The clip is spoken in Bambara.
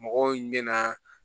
Mɔgɔw mɛna